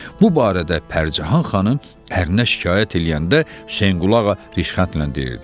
Bu barədə Pərcahan xanım ərinə şikayət eləyəndə Hüseynquluğa rişxəndlə deyirdi: